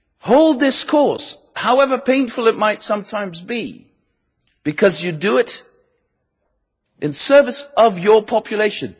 Hold this course, however painful it might sometimes be, because you do it in the service of your population.